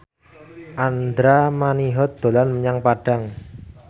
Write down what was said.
Andra Manihot dolan menyang Padang